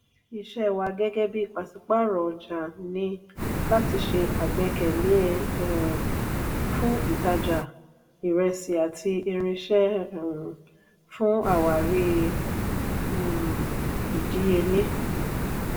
iṣẹ wa gẹgẹ bí pasipaaro ọjà n ní láti se àgbékalẹ̀ um fún ìtajà iresi àti irinṣẹ um fún àwárí um ìdíyelé